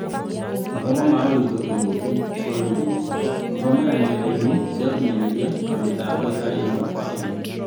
mathoma ma ũritũ kĩng'ũki [ bũrũri-inĩ] gũthomera ng'enda-inĩ cia ũkinyanĩria na mĩtambo itarĩ ĩmwe kwa imwe